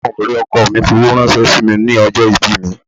Àwọn ọ̀rẹ́ ọkọọ̀ mi fowó ránṣẹ́ sí mi ní ọjọ́ ìbí mi.